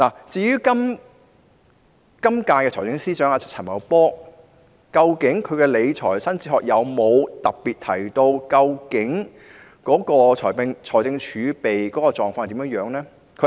至於現任財政司司長陳茂波，他曾否在其理財新哲學中特別提到財政儲備的狀況？